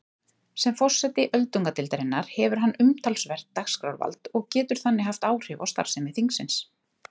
Sem forseti öldungadeildarinnar hefur hann umtalsvert dagskrárvald og getur þannig haft áhrif á starfsemi þingsins.